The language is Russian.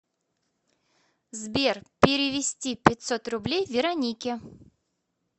сбер перевести пятьсот рублей веронике